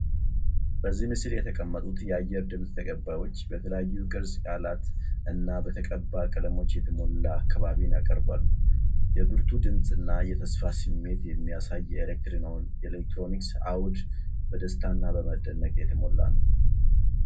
በዚህ ምስል የተቀመጡት የአየር ድምጽ ተቀባዮች በተለያዩ ቅርጸ ቃላት እና በተቀባ ቀለሞች የተሞላ አካባቢን ያቀርባሉ። የብርቱ ድምጽ እና የተስፋ ስሜት የሚያሳይ የኤሌክትሮኒክስ አውድ በደስታ እና በመደነቅ የተሞላ ነው።